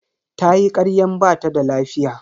Tayi karyan bata da lafiya.